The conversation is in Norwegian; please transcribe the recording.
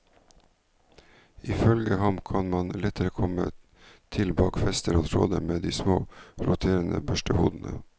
Ifølge ham kan man lettere komme til bak fester og tråder med de små, roterende børstehodene.